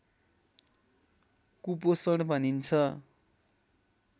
कुपोषण भनिन्छ